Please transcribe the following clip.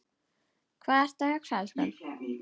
Hvað ertu að hugsa, elskan?